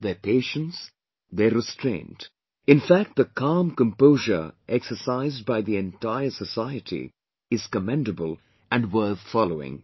Their patience, their restraint, in fact the calm composure exercised by the entire society is commendable & worth following